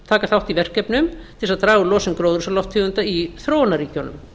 taka þátt í verkefnum til að draga úr losun gróðarhúsalofttegunda í þróunarríkjunum